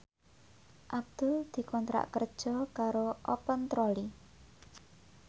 Abdul dikontrak kerja karo Open Trolley